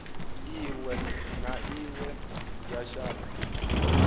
iwe na iwe ya shango